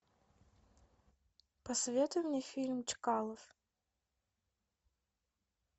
посоветуй мне фильм чкалов